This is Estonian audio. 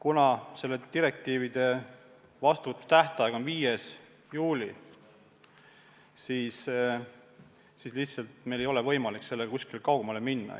Aga selle direktiivi vastuvõtmise tähtaeg on 5. juuli ja lihtsalt meil ei ole võimalik sellega kuskile kaugemale minna.